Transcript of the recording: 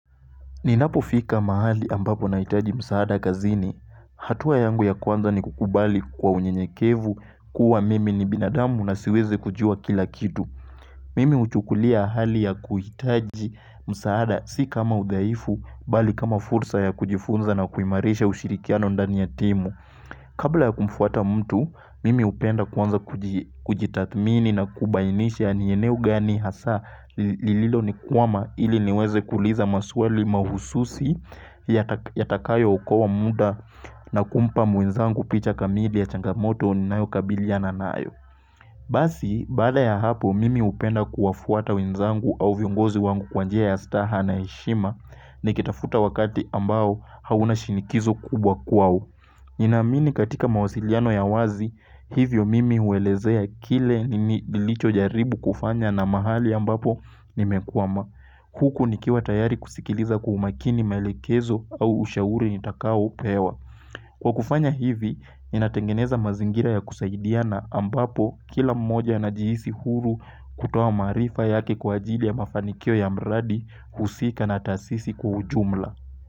Ninapo fika mahali ambapo nahitaji msaada kazini. Hatua yangu ya kwanza ni kukubali kwa unyenyekevu kuwa mimi ni binadamu na siwezi kujuwa kila kitu. Mimi uchukulia hali ya kuhitaji msaada si kama udhaifu bali kama fursa ya kujifunza na kuimarisha ushirikiano ndani ya timu. Kabla ya kumfata mtu, mimi upenda kwanza kujitathmini na kubainisha ni eneo gani hasa lililo nikwama ili niweze kuliza maswali mahususi yatakayo ukoa muda na kumpa mwenzangu picha kamili ya changamoto ninayo kabiliana nayo. Basi, baada ya hapo, mimi upenda kuwafata wenzangu au viongozi wangu kwa njia ya staha na heshima nikitafuta wakati ambao hauna shinikizo kubwa kwao. Ninamini katika mawasiliano ya wazi, hivyo mimi uwelezea kile nilicho jaribu kufanya na mahali ambapo nimekwama. Huku nikiwa tayari kusikiliza kwa umakini maelekezo au ushauri nitakao pewa. Kwa kufanya hivi, inatengeneza mazingira ya kusaidiana ambapo kila mmoja anajihisi huru kutoa maarifa yake kwa ajili ya mafanikio ya mradi husika na tasisi kwa ujumla.